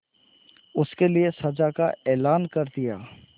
उसके लिए सजा का ऐलान कर दिया